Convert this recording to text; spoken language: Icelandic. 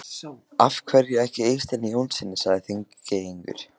Af hverju ekki Eysteini Jónssyni, sagði Þingeyingur.